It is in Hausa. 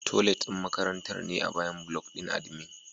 Toilet ɗin makarantar ne a bayan block ɗin admin.